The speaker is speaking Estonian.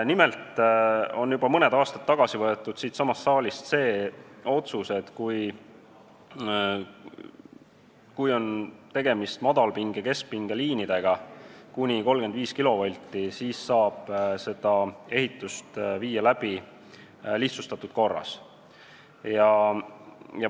Nimelt võeti juba mõned aastad tagasi siinsamas saalis vastu otsus, et kui on tegemist kuni 35-kilovoldiste madalpinge- ja keskpingeliinidega, siis saab seda ehitust lihtsustatud korras läbi viia.